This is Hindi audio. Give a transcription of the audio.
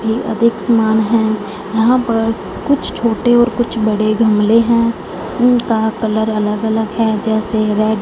ये अधिक समान है यहां पर कुछ छोटे और कुछ बड़े गमले हैं उनका कलर अलग अलग है जैसे रेड --